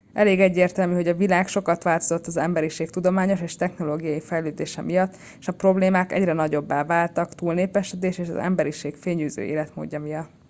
elég egyértelmű hogy a világ sokat változott az emberiség tudományos és technológiai fejlődése miatt és a problémák egyre nagyobbá váltak a túlnépesedés és az emberiség fényűző életmódja miatt